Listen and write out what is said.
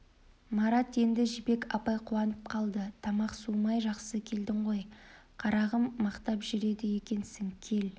марат енді жібек апай қуанып қалды тамақ суымай жақсы келдің ғой қарағым мақтап жүреді екенсің кел